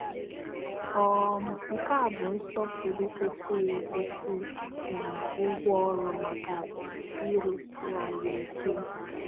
um Nke a bụ nsọpụrụ kwesịrị ekwesị na ụgwọ ọrụ maka ịrụsi ọrụ ike.